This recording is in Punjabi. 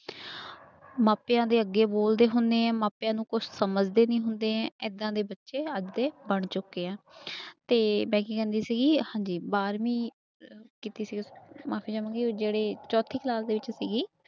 ਮਾਪਿਆਂ ਦੇ ਅੱਗੇ ਬੋਲਦੇ ਹੁੰਦੇ ਹਾਂ ਮਾਪਿਆਂ ਨੂੰ ਕੁਛ ਸਮਝਦੇ ਨੀ ਹੁੰਦੇ ਹੈ, ਏਦਾਂ ਦੇ ਬੱਚੇ ਅੱਜ ਦੇ ਬਣ ਚੁੱਕੇ ਆ ਤੇ ਮੈਂ ਕੀ ਕਹਿੰਦੀ ਸੀਗੀ ਹਾਂਜੀ ਬਾਰਵੀਂ ਕੀਤੀ ਸੀ ਮਾਫ਼ੀ ਚਾਵਾਂਗੀ ਜਿਹੜੀ ਚੌਥੀ class ਦੇ ਵਿੱਚ ਸੀਗੀ